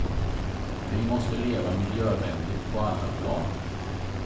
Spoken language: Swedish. Vi måste leva miljövänligt på alla plan.